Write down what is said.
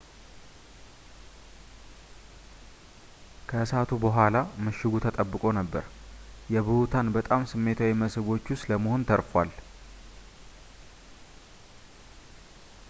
ከእሳቱ በኋላ ምሽጉ ተጠብቆ ነበር የብሁታን በጣም ስሜታዊ መስህቦች ውስጥ ለመሆን ተርፏል